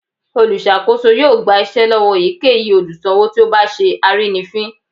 Olùsakoso yóò gba iṣẹ lọwọ eyikeyí olùsanwo tí o bá sẹ arínifín